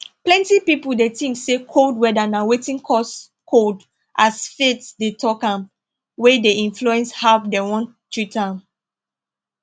plenty people dey tink say cold weather na wetin cause cold as faith dey talk am wey dey influence how dem wan treat am